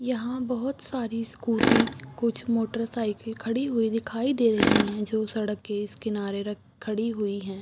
यहाँ बहुत सारी स्कूटी कुछ मोटर साइकिल खड़ी हुई दिखाई दे रहीं हैं जो सड़क के इस किनारे रख खड़ी हुईं हैं।